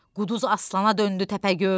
Quduz aslana döndü Təpəgöz.